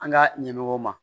An ka ɲɛmɔgɔw ma